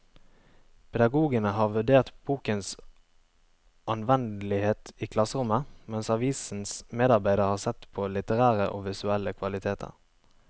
Pedagogene har vurdert bokens anvendelighet i klasserommet, mens avisens medarbeidere har sett på litterære og visuelle kvaliteter.